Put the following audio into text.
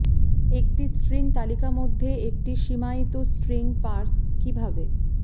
একটি স্ট্রিং তালিকা মধ্যে একটি সীমায়িত স্ট্রিং পার্স কিভাবে